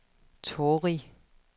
Torrig